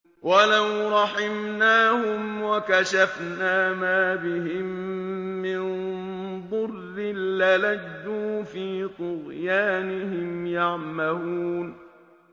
۞ وَلَوْ رَحِمْنَاهُمْ وَكَشَفْنَا مَا بِهِم مِّن ضُرٍّ لَّلَجُّوا فِي طُغْيَانِهِمْ يَعْمَهُونَ